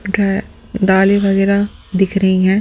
जो है दाली वगैरह दिख रही हैं।